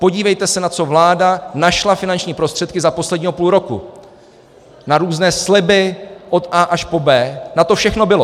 Podívejte se, na co vláda našla finanční prostředky za posledního půl roku, na různé sliby od A až po B, na to všechno bylo.